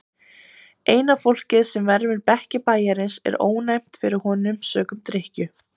Eina fólkið sem vermir bekki bæjarins er ónæmt fyrir honum sökum drykkju.